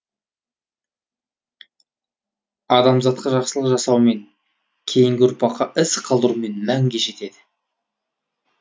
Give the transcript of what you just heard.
адамзатқа жақсылық жасаумен кейінгі ұрпаққа із қалдырумен мәнге жетеді